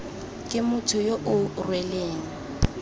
ke motho yo o rweleng